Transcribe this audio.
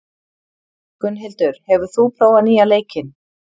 Gunnhildur, hefur þú prófað nýja leikinn?